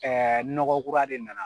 nɔgɔ kura de na na.